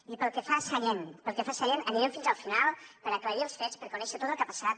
i pel que fa a sallent pel que fa a sallent anirem fins al final per aclarir els fets per conèixer tot el que ha passat